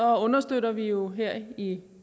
understøtter vi jo her i